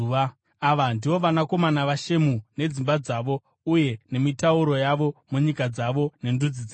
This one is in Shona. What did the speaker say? Ava ndivo vanakomana vaShemu nedzimba dzavo uye nemitauro yavo, munyika dzavo nendudzi dzavo.